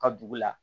Ka dugu la